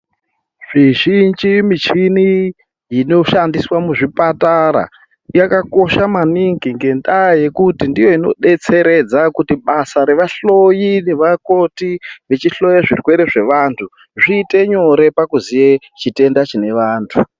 Mizhinji michini inoshandiswa muzvipatara yakakosha maningi ngendaa yekuti ndiyo inodetseredza kuti basa revahloyi nevakoti vachihloya zvirwere zvevantu zviite nyore pakuziye chitenda chinevanthu.